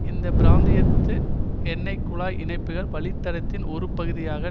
இந்த பிராந்தியத்து எண்ணெய் குழாய் இணைப்பு வழித்தடத்தின் ஒரு பகுதியாக